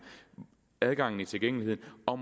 og adgangen og tilgængeligheden og